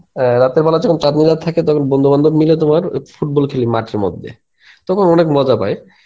আ রাতের বেলা যখন চাঁদনী রাত থাকে তখন বন্ধু বান্ধব মাইল তোমার ওই football খেলি মাঠের মধ্যে, তখন অনেক মজা পায়.